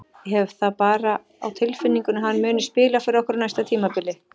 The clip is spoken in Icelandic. Ég hef það bara á tilfinningunni að hann muni spila fyrir okkur á næsta tímabili.